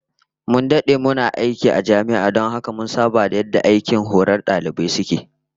Mun dade muna aiki a jami'a don haka mun saba da yadda aikin horar da dalibai suke